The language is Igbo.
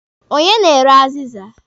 Onye na-ere azịza?